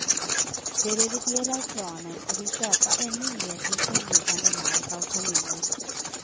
De reviderar planen och vill köpa ännu mer intilliggande mark av kommunen.